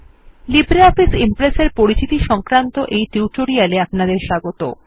LibreOffice Impress এর পরিচিতি সংক্রান্ত এই টিউটোরিয়াল এ আপনাদের স্বাগত